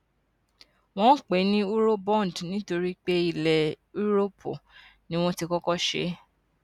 wón ń pè é ní eurobond nítorí pé ilè yúróòpù ni wón ti kókó ṣe é